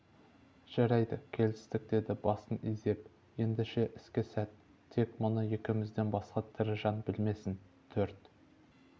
жарайды келістік деді басын изеп ендеше іске сәт тек мұны екеуімізден басқа тірі жан білмесін төрт